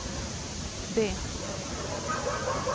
D